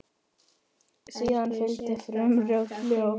Síðan fylgdi frumort ljóð.